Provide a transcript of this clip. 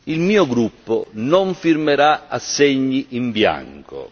Il mio gruppo non firmerà assegni in bianco.